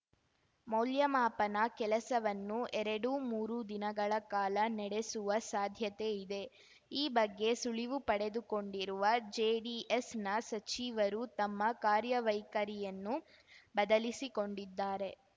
ಮೌಲ್ಯ ಮಾಪನ ಕೆಲಸವನ್ನು ಎರಡುಮೂರು ದಿನಗಳ ಕಾಲ ನಡೆಸುವ ಸಾಧ್ಯತೆ ಇದೆ ಈ ಬಗ್ಗೆ ಸುಳಿವು ಪಡೆದುಕೊಂಡಿರುವ ಜೆಡಿಎಸ್‌ನ ಸಚಿವರು ತಮ್ಮ ಕಾರ್ಯವೈಖರಿಯನ್ನು ಬದಲಿಸಿಕೊಂಡಿದ್ದಾರೆ